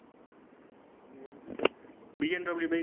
BMW bike